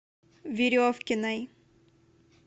веревкиной